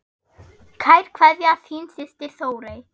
Kær kveðja, þín systir Þórey.